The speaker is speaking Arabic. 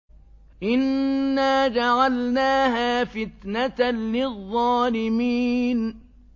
إِنَّا جَعَلْنَاهَا فِتْنَةً لِّلظَّالِمِينَ